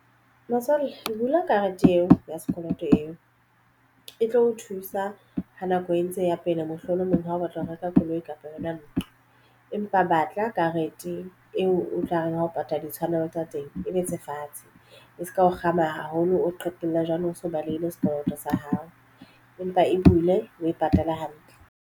Motswalle bula karete eo ya sekoloto eo e tlo o thusa ha nako e ntse ya pele mohlolomong. Ha o batla ho reka koloi kapa yona ntlo empa batla karete teng e utlwahalang ho patala ditshwanelo tsa teng e be tse fatshe e se ka o kgama haholo o qetella jwale o so balehile sekoloto sa hao empa e bule o e patala hantle.